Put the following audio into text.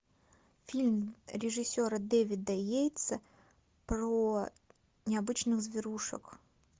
фильм режиссера дэвида йейтса про необычных зверушек